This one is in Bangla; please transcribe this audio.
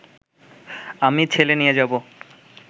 আমি ছেলে নিয়ে যাব